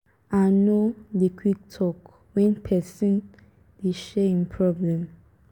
i no dey quick talk wen pesin dey share im problem.